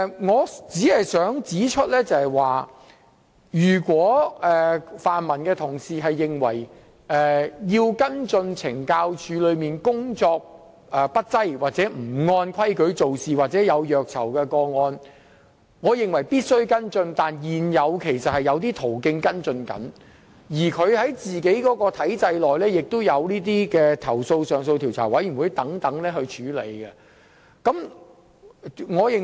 我只想指出，如泛民同事認為有需要跟進懲教署工作不濟、不按規矩做事或虐囚個案，我也認為有需要跟進，但現時其實已有途徑可以處理，而在懲教署本身的體制內，亦有投訴上訴委員會及投訴調查組等可作出跟進。